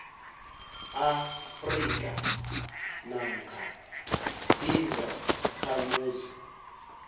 afrika namkha izakhamuzi